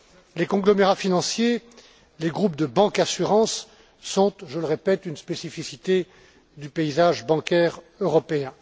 Les conglomérats financiers, les groupes de bancassurance sont, je le répète, une spécificité du paysage bancaire européen.